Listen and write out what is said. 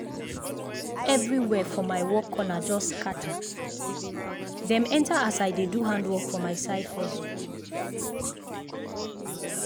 everywhere for my work corner just scatter—dem enter as i dey do handwork for my side hustle.